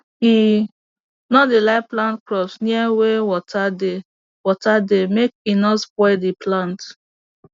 he no dey like plant crops near wey water dey water dey make e no spoil d plant